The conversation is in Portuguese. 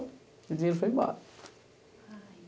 E o dinheiro foi embora. Ai